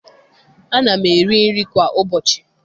Ana m eri nri kwa ụbọchị.